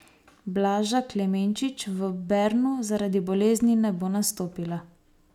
Blaža Klemenčič v Bernu zaradi bolezni ne bo nastopila.